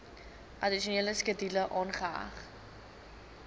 addisionele skedule aangeheg